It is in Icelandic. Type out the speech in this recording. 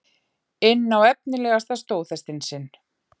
inn á efnilegasta stóðhestinn sinn.